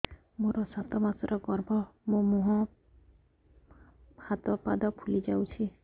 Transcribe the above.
ମୋ ସାତ ମାସର ଗର୍ଭ ମୋ ମୁହଁ ହାତ ପାଦ ଫୁଲି ଯାଉଛି